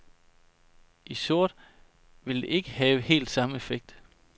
I sort vil det ikke have helt samme effekt.